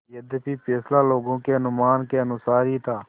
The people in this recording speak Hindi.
यद्यपि फैसला लोगों के अनुमान के अनुसार ही था